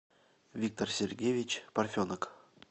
виктор сергеевич парфенок